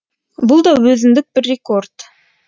бұл да өзіндік бір рекорд